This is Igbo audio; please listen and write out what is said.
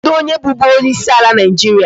Kedụ onye bụbu onyeisi ala Nigeria?